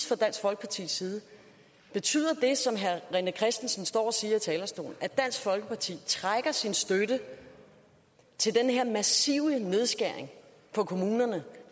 fra dansk folkepartis side betyder det som herre rené christensen står og siger fra talerstolen at dansk folkeparti trækker sin støtte til den her massive nedskæring på kommunerne